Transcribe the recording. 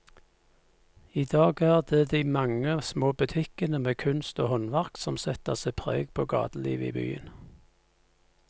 I dag er det de mange små butikkene med kunst og håndverk som setter sitt preg på gatelivet i byen.